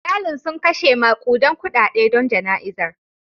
Iyalin sun kashe makudan kudade don jana'izar.